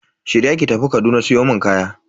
Shirya ki tafi Kaduna siyo mun kaya.